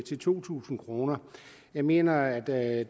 to tusind kroner jeg mener at